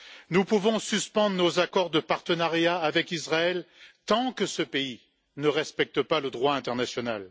Nous pouvons suspendre nos accords de partenariat avec Israël tant que ce pays ne respecte pas le droit international.